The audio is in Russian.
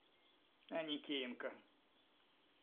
аникеенко